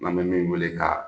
An bɛ min wele ka